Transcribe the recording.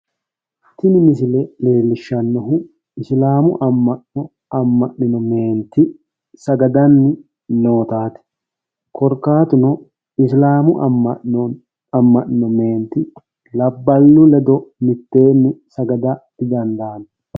Tini misile leellishshannohu isilaamu amma'no amma'nino meenti sagadanni nootaati. Korkaatuno isilamu amma'no amma'nino meenti labballu ledo mitteenni sagada dichaalanno.